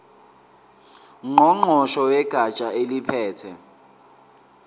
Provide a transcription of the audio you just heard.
ngqongqoshe wegatsha eliphethe